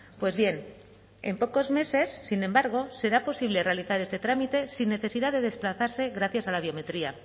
pues bien en pocos meses sin embargo será posible realizar este trámite sin necesidad de desplazarse gracias a la biometría